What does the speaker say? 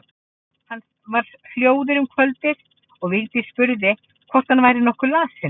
Hann var hljóður um kvöldið og Vigdís spurði hvort hann væri nokkuð lasinn.